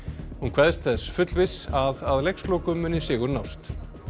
hún kveðst þess fullviss að að leikslokum muni sigur nást